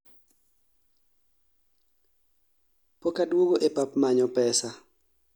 pokaduogo e pap manyo pesa